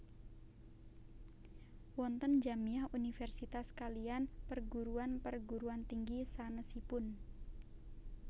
Wonten Jamiah Universitas kaliyan perguruan perguruan tinggi sanesipun